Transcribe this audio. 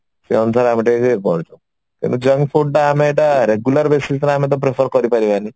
ସେଇ ଅନୁସାରେ ଆମେ ଟିକେ ଟିକେ କରୁଛୁ କିନ୍ତୁ junk food ତ ଆମେ ଏଇଟା regular basis ରେ ଆମେ ତ prefer କରି ପାରିବେନି